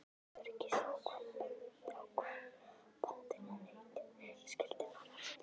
Til öryggis ákvað bóndinn að nautið skyldi fara aftur.